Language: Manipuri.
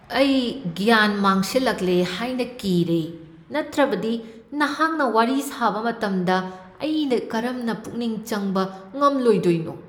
ꯑꯩ ꯒ꯭ꯌꯥꯟ ꯃꯥꯡꯁꯤꯜꯂꯛꯂꯦ ꯍꯥꯏꯅ ꯀꯤꯔꯦ, ꯅꯠꯇ꯭ꯔꯕꯗꯤ ꯅꯍꯥꯛꯅ ꯋꯥꯔꯤ ꯁꯥꯕ ꯃꯇꯝꯗ ꯑꯩꯅ ꯀꯔꯝꯅ ꯄꯨꯛꯅꯤꯡ ꯆꯪꯕ ꯉꯝꯂꯣꯏꯗꯣꯏꯅꯣ?